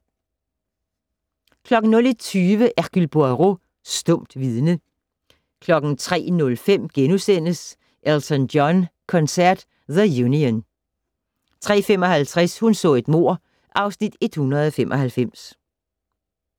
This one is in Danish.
01:20: Hercule Poirot: Stumt vidne 03:05: Elton John koncert "The Union" * 03:55: Hun så et mord (Afs. 195)